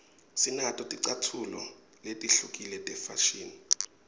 sinato ticatfulo letihlukile tefashini